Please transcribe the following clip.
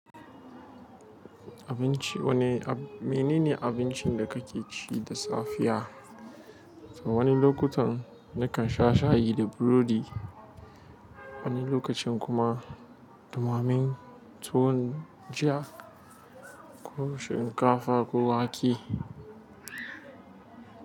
Abinci wane ab- menene abincin da kake ci da safiya? Wani lokutan nakan sha shayi da burodi, wani lokacin kuma ɗumammen tuwon jiya ko shinkafa ko wake.